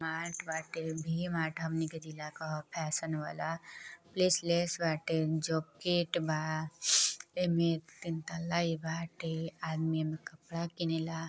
Mart बाटे। V mart बाटे। V mart हमनी के जिला क ह फैशन वाला। प्लेस लेस बाटे जोकेट बा। एमे तीन तल्ला इ बाटे। आदमी एमे कपड़ा किनेला।